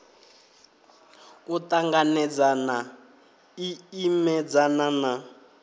u ṱanganedzana i imedzana na